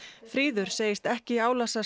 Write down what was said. fríður segist ekki álasa